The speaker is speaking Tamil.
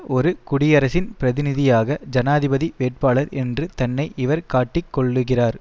ஒரு குடியரசின் பிரதிநிதியாக ஜனாதிபதி வேட்பாளர் என்று தன்னை இவர் காட்டிக் கொள்ளுகிறார்